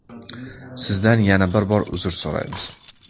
Sizdan yana bir bor uzr so‘raymiz.